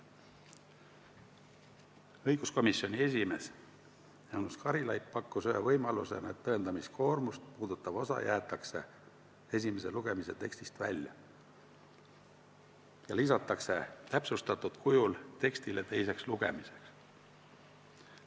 Õiguskomisjoni esimees Jaanus Karilaid pakkus ühe võimalusena, et tõendamiskoormust puudutav osa jäetakse esimese lugemise tekstist välja ja lisatakse täpsustatud kujul teise lugemise tekstile.